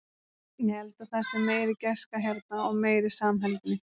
Ég held að það sé meiri gæska hérna og meiri samheldni.